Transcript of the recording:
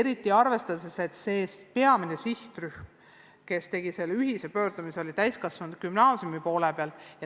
Eriti arvestades seda, et peamine sihtrühm, kes selle ühise pöördumise tegi, koosnes täiskasvanute gümnaasiumidest.